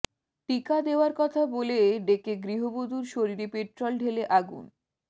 টিকা দেওয়ার কথা বলে ডেকে গৃহবধূর শরীরে পেট্রোল ঢেলে আগুন